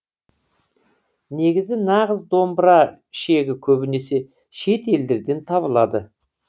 негізі нағыз домбыра шегі көбінесе шет елдерден табылады